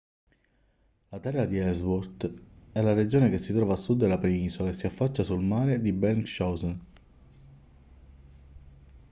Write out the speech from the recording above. la terra di ellsworth è la regione che si trova a sud della penisola e si affaccia sul mare di bellingshausen